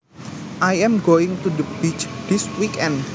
I am going to the beach this weekend